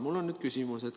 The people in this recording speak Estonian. Mul on nüüd küsimus.